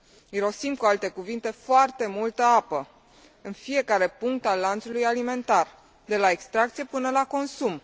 Irosim, cu alte cuvinte, foarte multă apă în fiecare punct al lanțului alimentar, de la extracție până la consum.